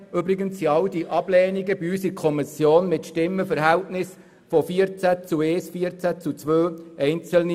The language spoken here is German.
Übrigens erfolgten all die Ablehnungen in der Kommission mit einem Stimmenverhältnis von 14 gegen 1, 14 gegen 2 und 11 gegen 3 Stimmen.